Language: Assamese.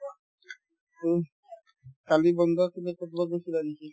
উম, কালি বন্ধ আছিলে ক'ৰবাত গৈছিলা নেকি ?